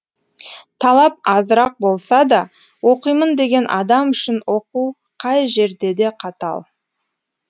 талап азырақ болса да оқимын деген адам үшін оқу қай жерде де қатал